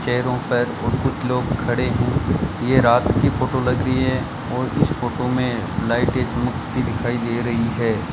चेयरों पर और कुछ लोग खड़े हैं ये रात की फोटो लग रही है और इस फोटो में लाइटें दिखाई दे रही है।